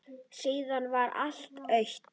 Síðan varð allt autt.